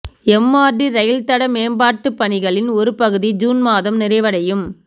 MRT ரயில்தட மேம்பாட்டுப் பணிகளின் ஒரு பகுதி ஜூன் மாதம் நிறைவடையும்